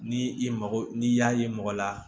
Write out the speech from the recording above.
Ni i mago n'i y'a ye mɔgɔ la